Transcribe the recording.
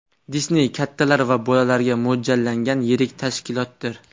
Disney kattalar va bolalarga mo‘ljallangan yirik tashkilotdir.